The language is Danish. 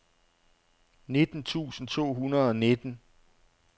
nitten tusind to hundrede og nitten